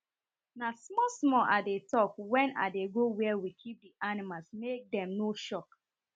na small small i dey tok wen i dey go where we keep the animals make dem no shock